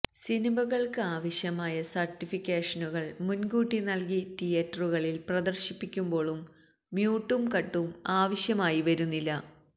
സിനിമകള്ക്ക് ആവശ്യമായ സര്ട്ടിഫിക്കേഷനുകള് മുന്കൂട്ടി നല്കി തിയറ്ററുകളില് പ്രദര്ശിപ്പിക്കുമ്പോള് മ്യൂട്ടും കട്ടും ആവശ്യമായി വരുന്നില്ല